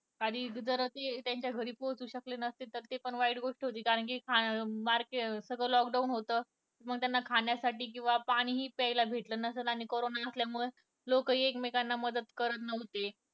आधी जर त्यांच्या घरी पोहचु शकले नसते तर ती पण वाईट गोष्ट होती कारण कि खा अं मा अं सगळं lock down होत मग त्यांना खाण्यासाठी आणि पाणी प्यायला भेटलं नसेल आणि करोना असल्यामुळे लोकंही मदत करत नव्हते